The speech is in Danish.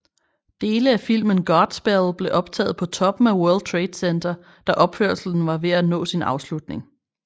Dele af filmen Godspell blev optaget på toppen af World Trade Center da opførelsen var ved at nå sin afslutning